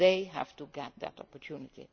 market. They have to seize that opportunity.